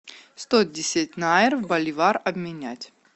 сто десять найр в боливар обменять